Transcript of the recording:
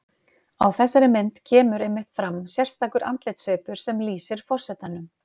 Á þessari mynd kemur einmitt fram sérstakur andlitssvipur sem lýsir forsetanum.